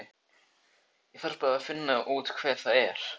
Ég þarf bara að finna út hver það er.